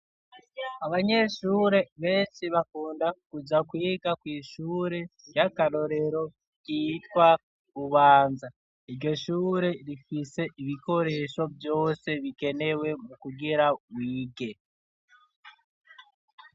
Abanyeshure benshi bakunda kuja kwiga kw'ishure ry'akarorero ryitwa Bubanza ,iryo shure rifise ibikoresho vyose bikenewe mu kugira wige.